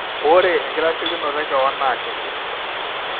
ore enkitasheikinoto ekewon naa kiti